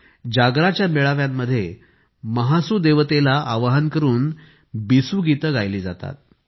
जागराच्या मेळाव्यांमध्ये महासू देवतेला आवाहन करून बिसू गीते गायली जातात